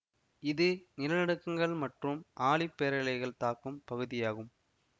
இது நிலநடுக்கங்கள் மற்றும் ஆழிப்பேரலைகள் தாக்கும் பகுதியாகும்